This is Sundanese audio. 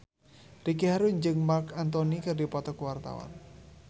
Ricky Harun jeung Marc Anthony keur dipoto ku wartawan